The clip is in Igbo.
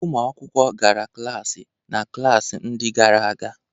Ụmụ akwụkwọ gara klaasị na klaasị ndị gara aga.